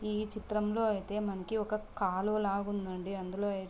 ఈ చిత్రంలో అయితే మనకి ఒక కాలువ లాగా ఉందండి. అందులో అయితే--